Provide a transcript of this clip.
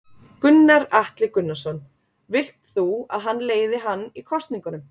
Gunnar Atli Gunnarsson: Vilt þú að hann leiði hann í kosningunum?